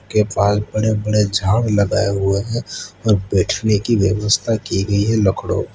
के पास बड़े बड़े झाड़ लगाए हुए है और बैठने की व्यवस्था की गई है लकड़ो पर --